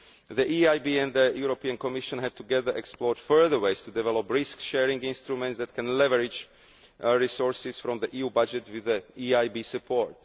year. The EIB and the Commission have together explored further ways to develop risk sharing instruments that can leverage resources from the EU budget with EIB support.